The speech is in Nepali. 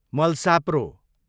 मलसाप्रो